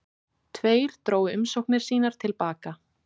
Tveir drógu umsóknir sínar til baka